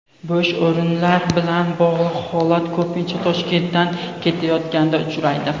Bo‘sh o‘rinlar bilan bog‘liq holat ko‘pincha Toshkentdan ketayotganda uchraydi.